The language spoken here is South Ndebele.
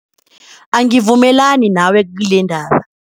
Angivumelani nawe kilendaba.